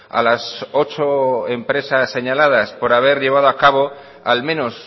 a las ocho empresas señaladas por haber llevado a cabo al menos